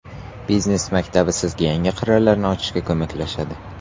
Biznes maktabi sizga yangi qirralarni ochishga ko‘maklashadi.